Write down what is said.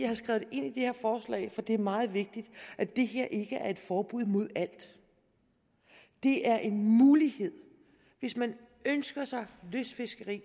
har skrevet ind i det her forslag for det er meget vigtigt at det her ikke er et forbud mod alt det er en mulighed hvis man ønsker sig lystfiskeri